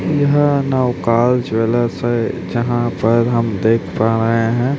यहाँ नवकार ज्वैलर्स है जहां पर हम देख पा रहे हैं।